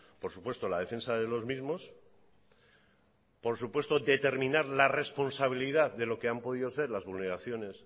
por supuesto la defensa de los mismos por supuesto determinarla responsabilidad de lo que han podido ser las vulneraciones